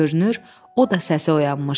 Görünür, o da səsi oyanmışdı.